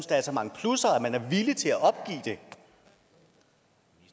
der er så mange plusser at man er villig til at opgive det